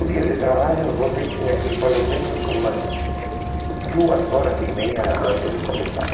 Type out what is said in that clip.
O dia de trabalho você tinha que ir pelo menos umas duas horas e meia antes de começar.